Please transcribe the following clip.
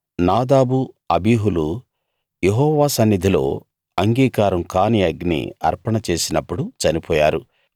నాదాబు అబీహులు యెహోవా సన్నిధిలో అంగీకారం కాని అగ్ని అర్పణ చేసినప్పుడు చనిపోయారు